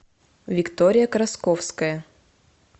виктория красковская